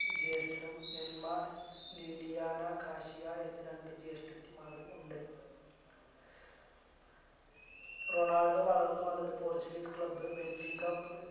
ജ്യേഷ്ടനും Elma Liliana Katia എന്ന രണ്ട് ജ്യേഷ്ട്ടത്തിമാരും ഉണ്ട് റൊണാൾഡോ വളർന്നു വന്നത് portuguese club ബെൻസികപ്